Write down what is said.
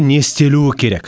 не істелуі керек